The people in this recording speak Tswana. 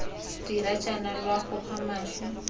dira jaana lwa goga mašwi